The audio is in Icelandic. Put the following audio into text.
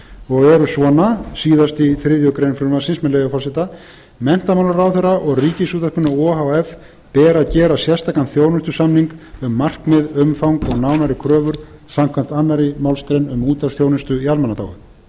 og eru svona síðast í þriðju greinar frumvarpsins með leyfi forseta menntamálaráðherra og ríkisútvarpinu o h f ber að gera sérstakan þjónustusamning um markmið umfang og nánari kröfur samkvæmt annarri málsgrein en útvarpsþjónustu í almannaþágu